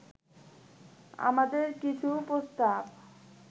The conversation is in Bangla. আমাদের কিছু প্রস্তাব